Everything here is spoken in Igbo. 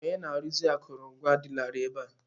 Onye na-arụzi akụrụngwa adịlarị ebe a.